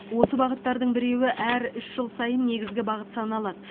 осы бағыттардың біреуі әр үш жыл сайын негізгі бағыт саналады